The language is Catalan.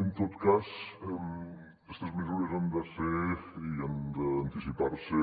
en tot cas estes mesures hi han de ser i han d’anticipar se